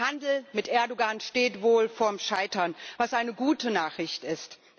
Der Handel mit Erdoğan steht wohl vor dem Scheitern, was eine gute Nachricht ist.